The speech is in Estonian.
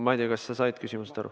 Ma ei tea, kas sa said küsimusest aru.